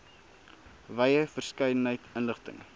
wye verskeidenheid inligting